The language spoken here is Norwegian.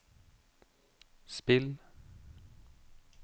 spill